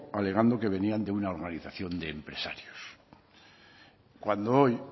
alegando que venía de una organización de empresarios cuando hoy